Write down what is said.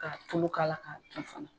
Ka tulu k'a la ka dun fana.